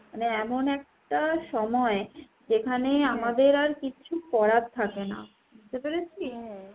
মানে এমন একটা সময় যেখানে আর কিচ্ছু করার থাকে না। বুঝতে পেরেছিস .